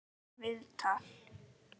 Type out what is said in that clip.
Sama viðtal.